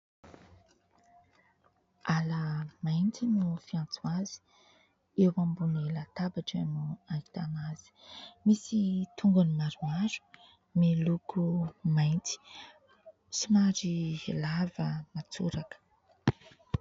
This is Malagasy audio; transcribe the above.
"Hala mainty" no fiantso azy. Eo ambony latabatra no ahitana azy. Misy tongony maromaro, miloko mainty, somary lava matsoraka.